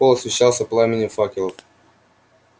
холл освещался пламенем факелов